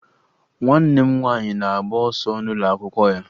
Nwanne m nwaanyị na-agba ọsọ n'ụlọakwụkwọ ya